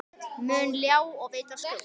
mun ljá og veita skjól.